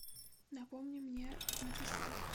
напомни мне написать